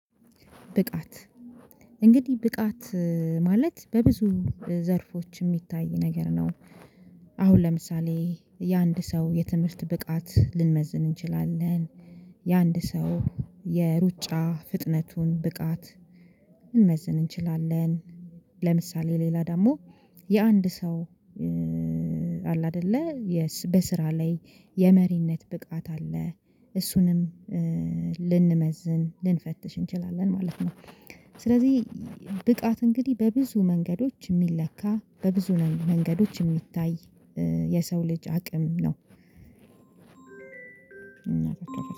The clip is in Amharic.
ብቃት እንግዲህ ብቃት ማለት በብዙ ዘርፎች የሚታይ ነገር ነው። አሁን ለምሳሌ የአንድ ሰው የትምህርት ብቃት ልንመዝን እንችላለን። የአንድ ሰው የሩጫ ፍጥነቱን ብቃት ልንመዝን እንችላለን። ለምሳሌ ሌላ ደግሞ የአንድ ሰው አለ አይደለ በስራ ላይ የመሪነት ብቃት አለ እሱንም ልንመዝን ልንፈትሽ እንችላለን ማለት ነው። ስለዚህ ብቃት እንግዲህ በብዙ መንገዶች የሚለካ በብዙ መንገዶች የሚታይ የሰው ልጅ አቅም ነው።